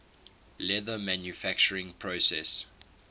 leather manufacturing process